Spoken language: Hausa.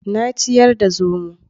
Na ciyar da zomo